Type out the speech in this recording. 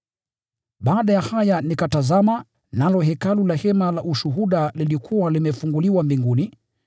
Baada ya haya nikatazama, nalo hekalu, la hema la Ushuhuda, lilikuwa limefunguliwa mbinguni.